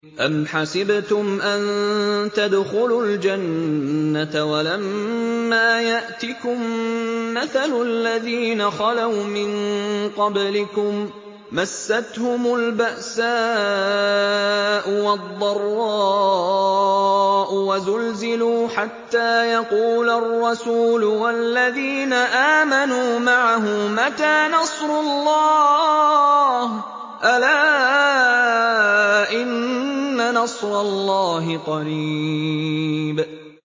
أَمْ حَسِبْتُمْ أَن تَدْخُلُوا الْجَنَّةَ وَلَمَّا يَأْتِكُم مَّثَلُ الَّذِينَ خَلَوْا مِن قَبْلِكُم ۖ مَّسَّتْهُمُ الْبَأْسَاءُ وَالضَّرَّاءُ وَزُلْزِلُوا حَتَّىٰ يَقُولَ الرَّسُولُ وَالَّذِينَ آمَنُوا مَعَهُ مَتَىٰ نَصْرُ اللَّهِ ۗ أَلَا إِنَّ نَصْرَ اللَّهِ قَرِيبٌ